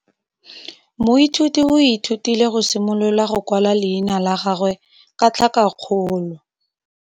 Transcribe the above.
Moithuti o ithutile go simolola go kwala leina la gagwe ka tlhakakgolo.